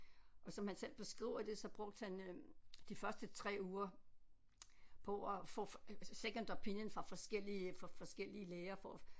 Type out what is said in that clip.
Og som han selv beskriver det så brugte han øh de første 3 uger på at få second opinion fra forskellige fra forskellige læger for at